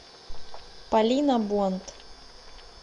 полина бонд